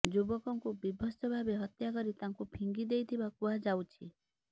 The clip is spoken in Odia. ଯୁବକଙ୍କୁ ବିଭତ୍ସ ଭାବେ ହତ୍ୟା କରି ତାଙ୍କୁ ଫିଙ୍ଗି ଦେଇଥିବା କୁହାଯାଉଛି